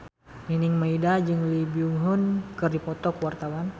Nining Meida jeung Lee Byung Hun keur dipoto ku wartawan